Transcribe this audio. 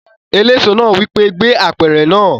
Eléso náà wí pé "gbé apẹ̀rẹ̀ náà!"